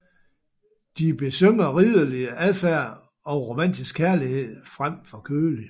De besynger ridderlig adfærd og romantisk kærlighed frem for kødelig